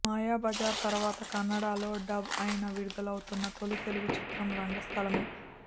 మాయాబజార్ తర్వాత కన్నడలో డబ్ అయి విడుదలవుతున్న తొలి తెలుగు చిత్రం రంగస్థలమే